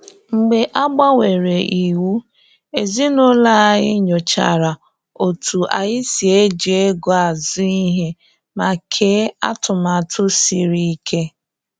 Mgbe a gbanwere iwu, ezinụlọ anyị nyochachara otu anyị si eji ego azu ihe, ma kee atụmatụ siri ike.